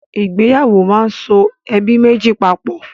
Ìgbéyàwó máa ń so ẹbí méjì papọ̀.